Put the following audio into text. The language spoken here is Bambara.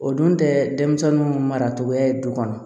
O dun tɛ denmisɛnninw maracogoya ye du kɔnɔ